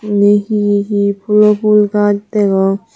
enni he he pulo pul gaas degong.